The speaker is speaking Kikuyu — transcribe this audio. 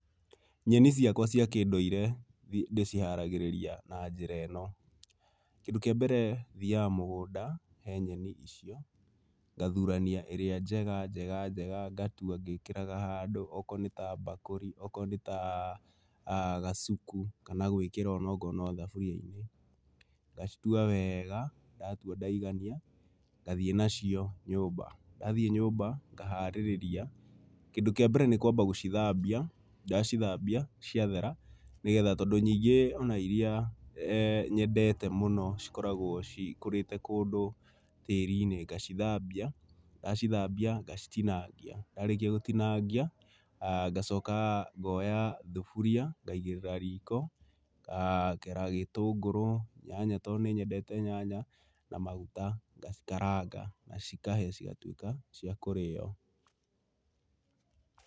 Nyeni ciakwa cia kĩndũire ndĩciharagĩrĩria na njĩra ĩno, kĩndũ kĩa mbere, thiaga mũgũnda he nyeni icio, ngathurania ĩrĩa njega njega ngatua ngĩkĩraga handũ okorwo nĩ ta mbakũri, okorwo nĩ ta, gacuku kana gwĩkĩra o na okorwo nĩ thaburia-inĩ, ngacitua wega, ndatua ndaigania, ngathiĩ nacio nyũmba. Ndathiĩ nyũmba ngaharĩrĩria. Kĩndũ kĩa mbere nĩ kũamba gũcithambia, ndacithambia ciathera, nĩ getha tondũ ningĩ o na iria nyendete mũno cikoragwo cikũrĩte kũndũ tĩĩri-inĩ, ngacithambia, ndacithambia ngacitinangia. Ndarĩkia gũtinangia ngacoka ngoya thuburia ngaigĩrĩra riko, ngakera gĩtũngũrũ, nyanya tondũ nĩ nyendete nyanya na maguta, ngacikaranga na cikahĩa cigatuĩka cia kũrĩo.